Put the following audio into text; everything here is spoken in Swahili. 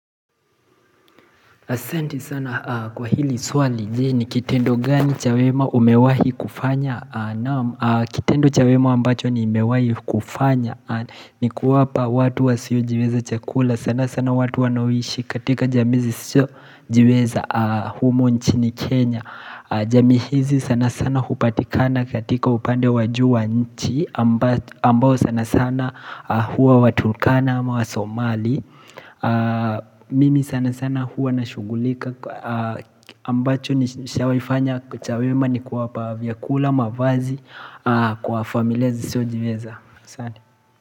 Asante sana kwa hili swali je, ni kitendo gani cha wema umewahi kufanya? Naam, Kitendo cha wema ambacho ni umewahi kufanya. Ni kuwapa watu wasiojiweza chakula, sana sana watu wanaoishi katika jamii zisizo jiweza humu nchini Kenya. Jamii hizi sana sana upatikana katika upande wa juu wa nchi, ambao sana sana huwa watulkana ama wasomali. Mimi sana sana huwa nashugulika ambacho sijawahifanya cha wema ni kuwapa vyakula, mavazi, Kwa familia zisizo jiveza sana.